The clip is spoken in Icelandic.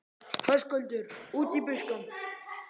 Höskuldur: Út í buskann?